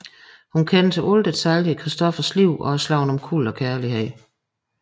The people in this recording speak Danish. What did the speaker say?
Hun kender til alle detaljer i Christophers liv og er slået omkuld af kærlighed